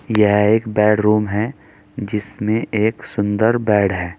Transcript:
यह एक बेडरूम है जिसमें एक सुंदर बेड है।